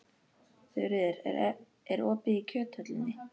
Þuríður, er opið í Kjöthöllinni?